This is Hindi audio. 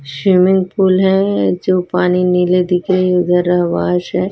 स्विमिंग पूल है जो पानी नीले दिख रही उधर आवास है।